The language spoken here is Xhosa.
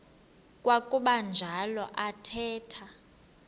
kwakuba njalo athetha